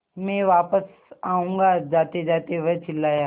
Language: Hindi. मैं वापस आऊँगा जातेजाते वह चिल्लाया